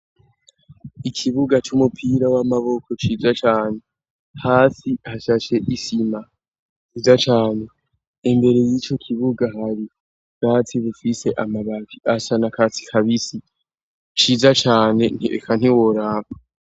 Ikibuga c'umupira w'amaboko ciza cane hasi hashashe isima kiza cane imbere y'ico kibuga hari bwatsi bifise amabavi asana katsi kabisi ciza cane ntieka ntiworaba.